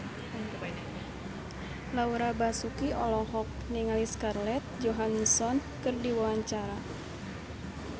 Laura Basuki olohok ningali Scarlett Johansson keur diwawancara